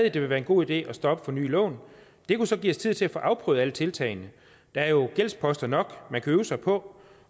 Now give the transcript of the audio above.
at det vil være en god idé at stoppe for nye lån det kunne så give os tid til at få afprøvet alle tiltagene der er jo gældsposter nok at øve sig på